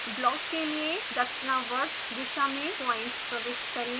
block के लिए दक्षिणावर्त दिशा में पॉइंट्स प्रविष्ट करें